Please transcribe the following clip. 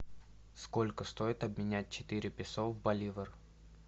сколько стоит обменять четыре песо в боливар